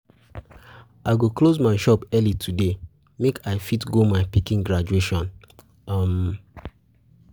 I go close my shop early today make I fit go my pikin graduation. um